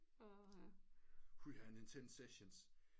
Hu ha en intens session